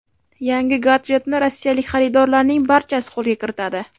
Yangi gadjetni rossiyalik xaridorlarning barchasi qo‘lga kiritadi.